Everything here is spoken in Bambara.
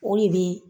O de bɛ